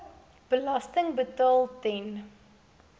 belasting betaal ten